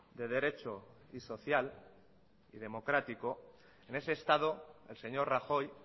de derecho y social y democrático en ese estado el señor rajoy